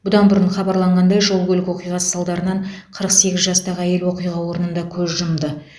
бұдан бұрын хабарланғандай жол көлік оқиғасы салдарынан қырық сегіз жастағы әйел оқиға орнында көз жұмды